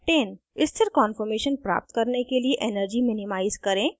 * स्थिर कॉन्फॉर्मेशन प्राप्त करने के लिए energy minimize करें